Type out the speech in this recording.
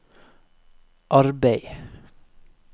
arbeid